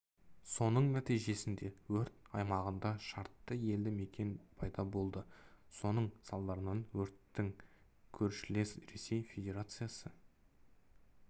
соның нәтижесінде өрт аймағында шартты елді мекен пайда болды соның салдарынан өрттің көршілес ресей федерациясы